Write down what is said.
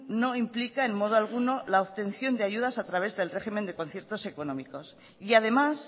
no implica en modo alguno la obtención de ayudas a través del régimen de conciertos económicos y además